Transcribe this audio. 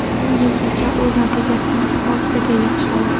Bu yil esa o‘z natijasini oltitaga yaxshiladi.